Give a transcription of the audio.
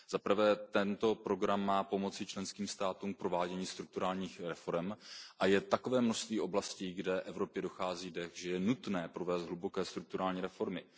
Za prvé, tento program má pomoci členským státům v provádění strukturálních reforem a je takové množství oblastí, kde Evropě dochází dech, že je nutné provést hluboké strukturální reformy.